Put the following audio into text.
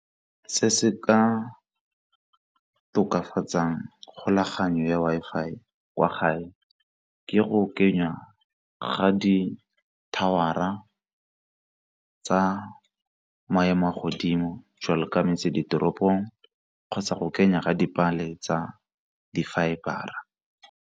Ke bile le one ka founela the service provider ya nthusa ka go rarabolola bothata joo.